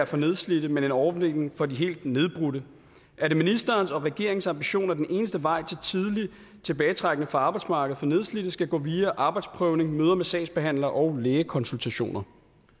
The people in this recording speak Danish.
for nedslidte men en ordning for de helt nedbrudte er det ministerens og regeringens ambition at den eneste vej til tidlig tilbagetrækning fra arbejdsmarkedet for nedslidte skal gå via arbejdsprøvning møder med sagsbehandlere og lægekonsultationer